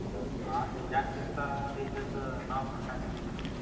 अं अख्या जागतिक स्थळामध्ये त्याच नाव पण टाकलंय